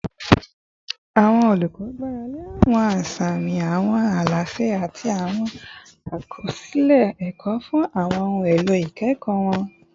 Awọn olukọ gbarale awọn asami, awọn alaṣẹ, ati awọn akọsilẹ ẹkọ fun awọn ohun elo ikẹkọ wọn